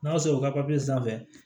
N'a sɔrɔ u ka papiye sanfɛ